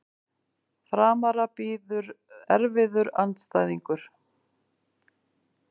Framara bíður erfiður andstæðingur